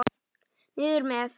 Niður með.